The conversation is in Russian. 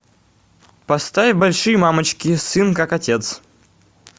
поставь большие мамочки сын как отец